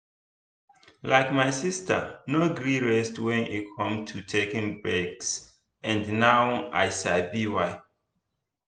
like my sister no gree rest when e come to taking breaks and now i sabi why.